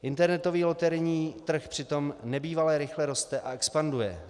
Internetový loterijní trh přitom nebývale rychle roste a expanduje.